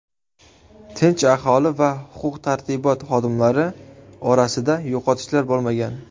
Tinch aholi va huquq-tartibot xodimlari orasida yo‘qotishlar bo‘lmagan.